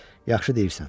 Yaxşı deyirsən.